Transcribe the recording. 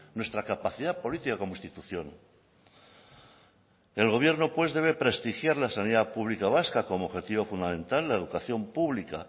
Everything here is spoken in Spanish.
nuestra capacidad política como institución el gobierno pues debe prestigiar la sanidad pública vasca como objetivo fundamental la educación pública